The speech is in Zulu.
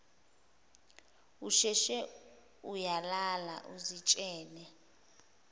usheshe uyalala uzitshele